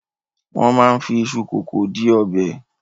Wọ́n máa ń fi iṣu kòkó di ọbẹ̀.